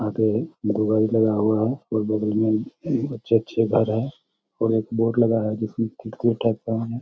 आगे लगा हुआ है और बगल में अच्छे-अच्छे घर हैं और एक बोर्ड लगा है जिसमे